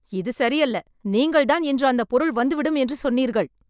இது சரி அல்ல. நீங்கள் தான் இன்று அந்த பொருள் வந்துவிடும் என்னு சொன்னீர்கள்